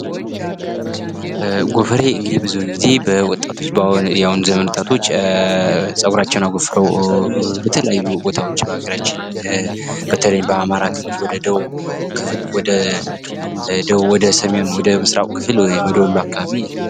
ጎፈሬ እንግዲህ ብዙውን ጊዜ በወጣቶች በአሁኑ ዘመን ወጣቶች ጸጉራቸውን አጎፍረው በተለያየ ቦታዎች በሀገራችን በተለይም በአማራ ክልል ወደ ደቡብ ክፍል ወደ ሰሜን ወደ ምስራቁ ክፍል ወደ ወሎ አካባቢ።